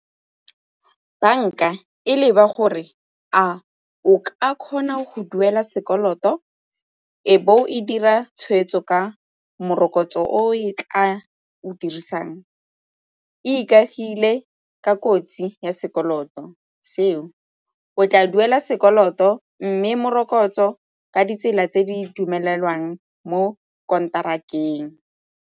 Banka e leba gore a o ka kgona go duela sekoloto e be e dira tshweetso ka morokotso oo e tla o dirisang, e ikagile ka kotsi ya sekoloto seo. O tla duela sekoloto mme morokotso ka ditsela tse di dumelelwang mo konterakeng.